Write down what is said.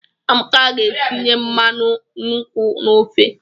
Amaka ga-etinye mmanụ nkwu n'ofe.